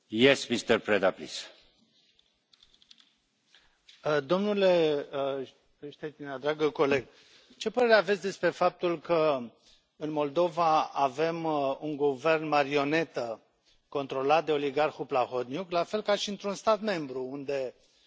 Domnule Štětina, dragă coleg, ce părere aveți despre faptul că, în Moldova, avem un guvern marionetă controlat de oligarhul Plahotniuc, la fel ca și într un stat membru, unde guvernul de la București e condus de o marionetă, doamna Dăncilă,